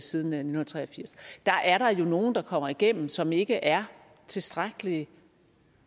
siden nitten tre og firs er der jo nogle der kommer igennem som ikke er tilstrækkelig